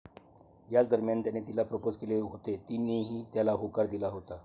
याच दरम्यान त्याने तिला प्रपोज केले होते, तिनेही त्याला होकार दिला होता.